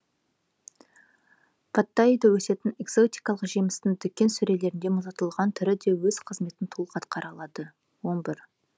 паттайиде өсетін экзотикалық жемістің дүкен сөрелеріндегі мұздатылған түрі де өз қызметін толық атқара алады он бір